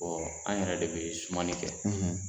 Ɔɔ an yɛrɛ de bɛ sumani kɛ.